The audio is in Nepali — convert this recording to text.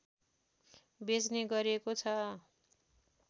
बेच्ने गरिएको छ